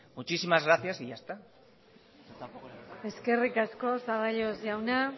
muchísimas gracias y ya está eskerrik asko zaballos jauna